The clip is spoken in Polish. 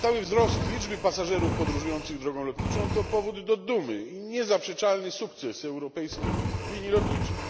Stały wzrost liczby pasażerów podróżujących drogą lotniczą to powód do dumy i niezaprzeczalny sukces europejskich linii lotniczych.